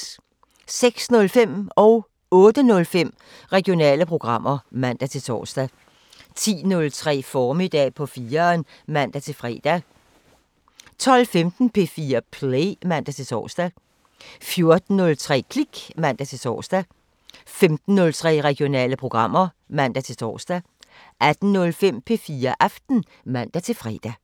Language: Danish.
06:05: Regionale programmer (man-fre) 08:05: Regionale programmer (man-tor) 10:03: Formiddag på 4'eren (man-fre) 12:15: P4 Play (man-tor) 14:03: Klik (man-tor) 15:03: Regionale programmer (man-tor) 18:05: P4 Aften (man-fre)